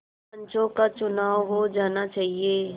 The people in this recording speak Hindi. पंचों का चुनाव हो जाना चाहिए